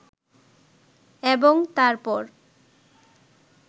এবং তারপর